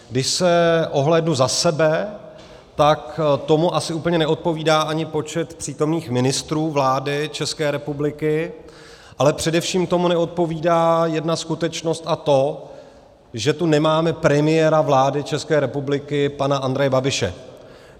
Když se ohlédnu za sebe, tak tomu asi úplně neodpovídá ani počet přítomných ministrů vlády České republiky, ale především tomu neodpovídá jedna skutečnost, a to že tu nemáme premiéra vlády České republiky pana Andreje Babiše.